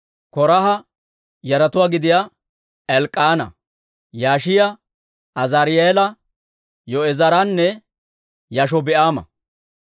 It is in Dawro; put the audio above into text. K'oraaha yaratuwaa gidiyaa Elk'k'aana, Yishiyaa, Azaari'eela, Yo'eezeranne Yaashobi'aama,